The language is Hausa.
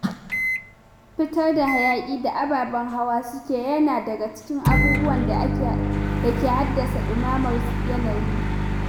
Fitar da hayaƙi da ababen hawa suke yi yana daga cikin abubuwan da ke haddasa ɗumamar yanayi.